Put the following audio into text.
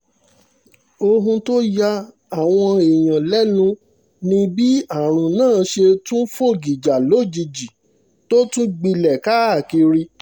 ohun tó ya àwọn èèyàn lẹ́nu ni bí àrùn náà ṣe tún fọ́ gìjà lójijì tó sì tún gbilẹ̀ káàkiri